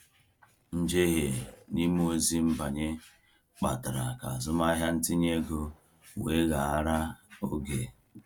Njehie n’ime ozi nbanye kpatara ka azụmahịa ntinye ego weghaara oge.